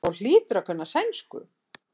Þá hlýturðu að kunna sænsku.